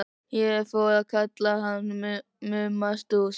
Ég fór að kalla hann Mumma Stúss.